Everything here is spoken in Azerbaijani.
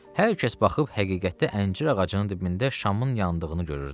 Hər kəs baxıb həqiqətdə əncir ağacının dibində şamın yandığını görürdü.